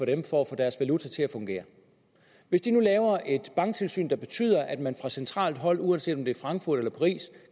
dem for at få deres valuta til at fungere hvis de nu laver et banktilsyn der betyder at man fra centralt hold uanset om det i frankfurt eller paris